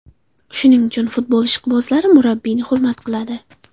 Shuning uchun futbol ishqibozlari murabbiyni hurmat qiladi.